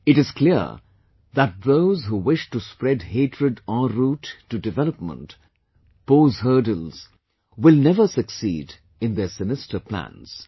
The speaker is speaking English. It is clear that those who wish to spread hatred en route to development, pose hurdles will never succeed in their sinister plans